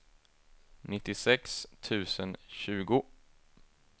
nittiosex tusen tjugo